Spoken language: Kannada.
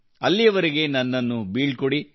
ಅಲ್ಲಿಯವರೆಗೆ ನನ್ನನ್ನು ಬೀಳ್ಕೊಡಿ